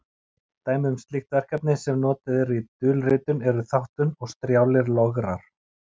Dæmi um slík verkefni sem notuð eru í dulritun eru þáttun og strjálir lograr.